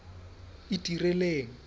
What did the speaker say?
itireleng